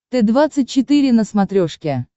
т двадцать четыре на смотрешке